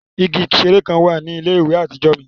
Igi ṣẹẹri kan wa ni ile-iwe atijọ mi.